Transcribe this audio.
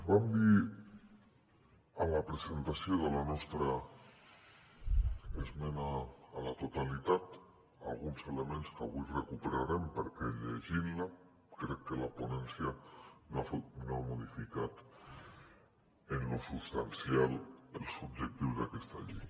vam dir a la presentació de la nostra esmena a la totalitat alguns elements que avui recuperarem perquè llegint la crec que la ponència no ha modificat en lo substancial els objectius d’aquesta llei